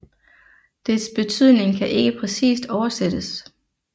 Dets betydning kan ikke præcist oversættes